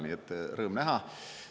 Nii et rõõm näha.